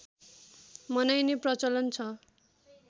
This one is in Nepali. मनाइने प्रचलन छ